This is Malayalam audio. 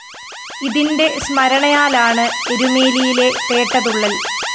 ഇതിന്റെ സ്മരണയാലാണ് എരുമേലിയിലെ പേട്ടതുള്ളല്‍